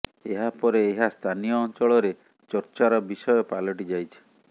ଏହା ପରେ ଏହା ସ୍ଥାନୀୟ ଅଞ୍ଚଳ ରେ ଚର୍ଚ୍ଚା ର ବିଷୟ ପାଲଟି ଯାଇଛି